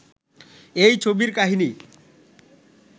এই ছবির কাহিনী